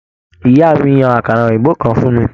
Ìyá mí yan àkàrà òyìnbó kàn fún mí.